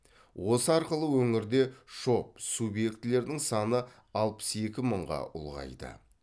осы арқылы өңірде шоб субьектілердің саны алпыс екі мыңға ұлғайды